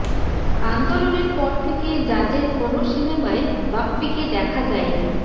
আন্দোলনের পর থেকে জাজের কোনো সিনেমায় বাপ্পীকে দেখা যায়নি